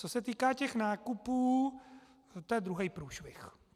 Co se týká těch nákupů, to je druhý průšvih.